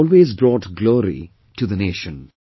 They have always brought glory to the Nation